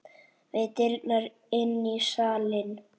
Við dyrnar inn í salinn.